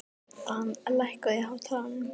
Dan, lækkaðu í hátalaranum.